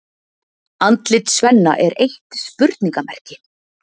Andlit Svenna er eitt spurningamerki.